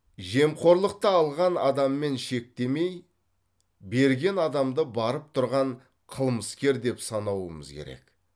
жемқорлықты алған адаммен шектемей берген адамды барып тұрған қылмыскер деп санауымыз керек